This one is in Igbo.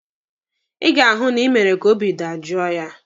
Ị ga-ahụ na ị mere ka obi dajoo ya!